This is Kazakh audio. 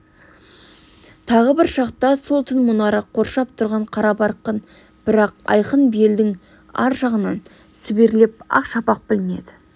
тағы бір шақта сол түн мұнары қоршап тұрған қарабарқын бірақ айқын белдің ар жағынан сіберлеп ақ шапақ білінеді